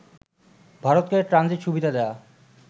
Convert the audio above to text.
ভারতকে ট্রানজিট সুবিধা দেয়া